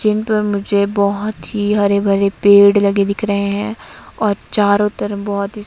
जिनपर मुझे बहोत ही हरे भरे पेड़ लगे दिख रहे हैं और चारो तरफ बहोत ही--